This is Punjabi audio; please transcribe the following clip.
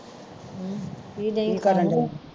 ਕੀ ਦਈ